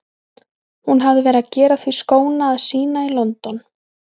Hún hafði verið að gera því skóna að sýna í London.